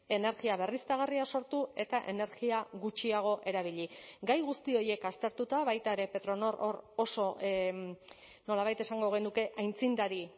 energia berriztagarria sortu eta energia gutxiago erabili gai guzti horiek aztertuta baita ere petronor hor oso nolabait esango genuke aitzindari